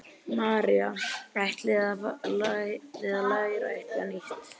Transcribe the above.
María: Ætlið þið að læra eitthvað nýtt?